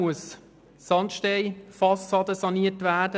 Die Sandsteinfassade muss saniert werden.